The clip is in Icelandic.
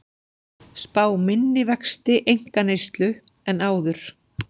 Spá minni vexti einkaneyslu en áður